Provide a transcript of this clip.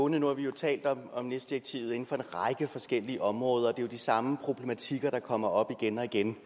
nu har vi jo talt om om nis direktivet inden for en række forskellige områder og det er jo de samme problematikker der kommer op igen og igen